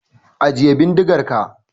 Ajiye bindigar ka!